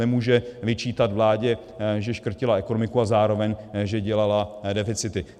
Nemůže vyčítat vládě, že škrtila ekonomiku, a zároveň, že dělala deficity.